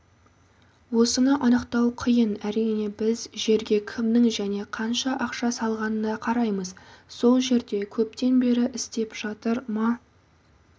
осыны анықтау қиын әрине біз жерге кімнің және қанша ақша салғанына қараймыз сол жерде көптен бері істеп жатыр ма